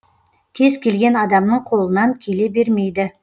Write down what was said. кез келген адамның қолынан келе бермейді